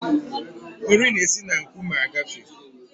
Nri na-esi n'nkuume agafee